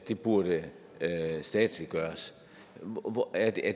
der burde statsliggøres